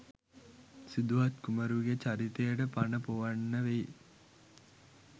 සිදුහත් කුමරුගෙ චරිතයට පණ පොවන්න වෙයි.